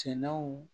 Sɛnɛw